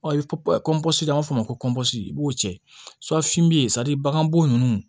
an b'a fɔ o ma ko i b'o cɛ bagan bo ninnu